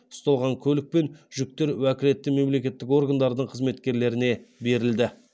ұсталған көлік пен жүктер уәкілетті мемлекеттік органдардың қызметкерлеріне берілді